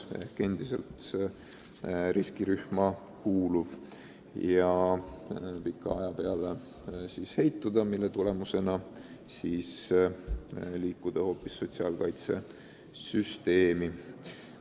Ta võib endiselt kuuluda riskirühma ja pika aja peale ka heitunute hulka sattuda, mis teeb temast sotsiaalkaitsesüsteemi hoolealuse.